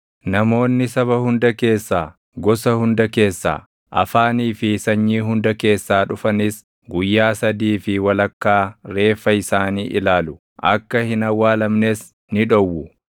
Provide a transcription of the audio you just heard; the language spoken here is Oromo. Namoonni saba hunda keessaa, gosa hunda keessaa, afaanii fi sanyii hunda keessaa dhufanis guyyaa sadii fi walakkaa reeffa isaanii ilaalu; akka hin awwaalamnes ni dhowwu.